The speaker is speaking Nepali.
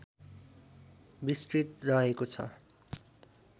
विस्तृत रहेको छ